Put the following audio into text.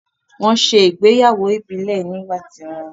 Wọ́n ṣe ìgbéyàwó ìbílẹ̀ nígbà ti wọn